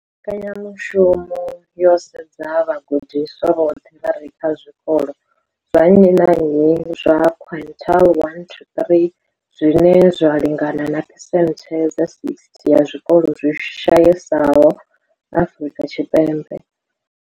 Mbekanya mushumo yo sedza vhagudiswa vhoṱhe vha re kha zwikolo zwa nnyi na nnyi zwa quintile 1-3, zwine zwa lingana na phesenthe dza 60 ya zwikolo zwi shayesaho Afrika Tshipembe.